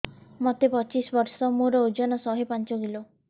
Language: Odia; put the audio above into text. ମୋତେ ପଚିଶି ବର୍ଷ ମୋର ଓଜନ ଶହେ ପାଞ୍ଚ କିଲୋ